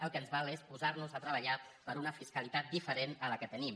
el que ens val és posar nos a treballar per una fiscalitat diferent a la que tenim